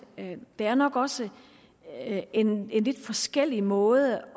der nok også er en lidt forskellig måde